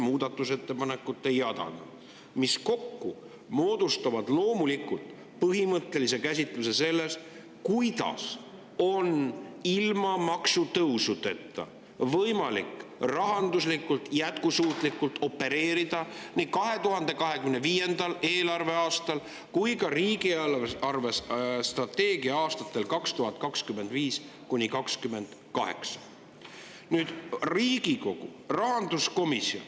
Muudatusettepanekute jadana, mis kokku moodustavad põhimõttelise käsitluse sellest, kuidas on ilma maksutõusudeta võimalik rahanduslikult jätkusuutlikult opereerida nii 2025. eelarveaastal kui ka riigi eelarvestrateegia aastatel 2025–2028.